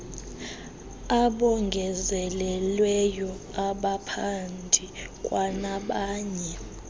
abongezelelweyo abaphandi kwanabanye